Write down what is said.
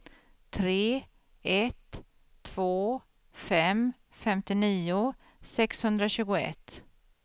tre ett två fem femtionio sexhundratjugoett